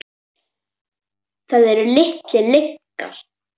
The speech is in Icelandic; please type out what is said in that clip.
Það eru litlar lygar.